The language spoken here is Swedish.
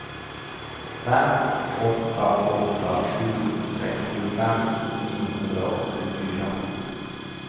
fem åtta åtta sju sextiofem niohundraåttiofyra